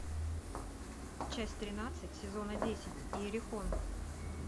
часть тринадцать сезона десять иерихон